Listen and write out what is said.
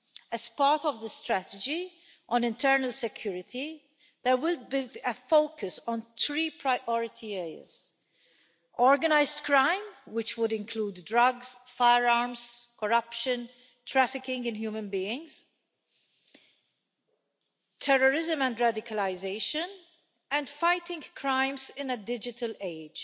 As part of the strategy, on internal security, there will be a focus on three priority areas organised crime, which would include drugs, firearms, corruption, trafficking in human beings, terrorism and radicalisation, and fighting crimes in a digital age.